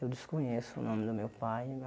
Eu desconheço o nome do meu pai.